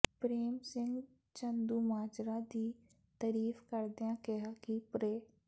ਪ੍ਰੇਮ ਸਿੰਘ ਚੰਦੂਮਾਜਰਾ ਦੀ ਤਾਰੀਫ ਕਰਦਿਆਂ ਕਿਹਾ ਕਿ ਪ੍ਰੇ